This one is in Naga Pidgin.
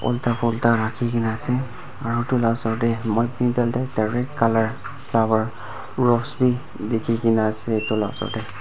unta pulta rakhikena ase are etu osor tae direct colour flower rose vi dekhikena ase etu laga osor tae.